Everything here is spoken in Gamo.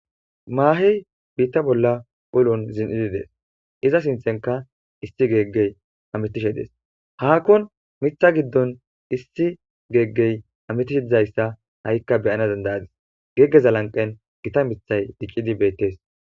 maahey biitta bolla ulon zin'idi dees iza sinthenka issi geeggey hametishe dees haakkon mitha giddon issi geeggey ametishe dizayssa ha'ikka beyana dandayadis geggeza lanqen gita mithay diccidi beettees